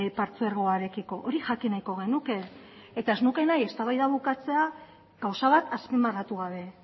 partzuergoarekiko hori jakin nahiko genuke eta ez nuke nahi eztabaida bukatzea gauza bat azpimarratu gabe